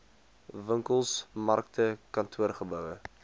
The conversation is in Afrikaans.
winkels markte kantoorgeboue